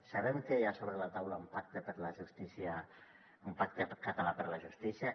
sabem que hi ha sobre la taula un pacte per la justícia un pacte català per la justícia